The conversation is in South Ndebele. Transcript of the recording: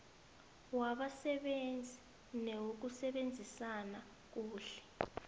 wabasebenzi newokusebenzisana kuhle